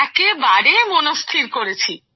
একেবারে মনস্থির করেছি